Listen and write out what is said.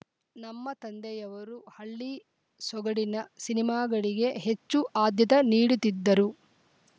ನಮ್ಮ ತಂದೆಯವರು ಹಳ್ಳಿ ಸೊಗಡಿನ ಸಿನಿಮಾಗಳಿಗೆ ಹೆಚ್ಚು ಆದ್ಯತೆ ನೀಡುತ್ತಿದ್ದರು